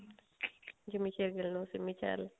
Jimmy Shergill ਨੂੰ ਸਿੰਮੀ ਚਹਿਲ